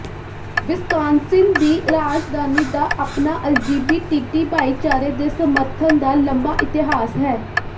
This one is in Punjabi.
ਵਿਸਕਾਨਸਿਨ ਦੀ ਰਾਜਧਾਨੀ ਦਾ ਆਪਣਾ ਅਲਜੀਬੀ ਟੀਟੀ ਭਾਈਚਾਰੇ ਦੇ ਸਮਰਥਨ ਦਾ ਲੰਮਾ ਇਤਿਹਾਸ ਹੈ